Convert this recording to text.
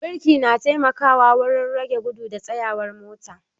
Birki na taimakawa wurin rage gudu da tsayawar mota